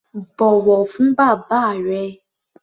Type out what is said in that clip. Bọ̀wọ̀ fún bàbá rẹ!